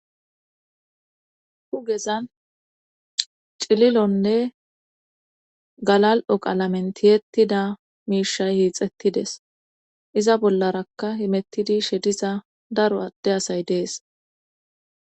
Dugezan cililonne galal'o qalamentiyeettida miishay hiixettides iza bollarakka himettidi shediza daro adde asay dees.